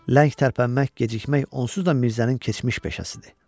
Ləng tərpənmək, gecikmə onsuz da Mirzənin keçmiş peşəsidir.